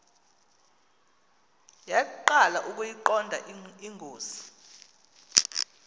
yaqala ukuyiqonda ingozi